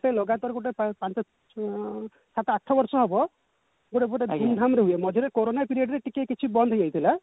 ଲଗାତାର ଗୋଟେ ପାଞ୍ଚ ଉଁ ସାତ ଆଠ ବର୍ଷ ହବ ଗୋଟେ ଗୋଟେ ଧୁମ ଧାମ ରେ ହୁଏ ମଝିରେ କୋରୋନା period ରେ ଟିକେ କିଛି ବନ୍ଦ ହେଇଯାଇଥିଲା